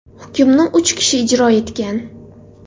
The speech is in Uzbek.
Hukmni uch kishi ijro etgan.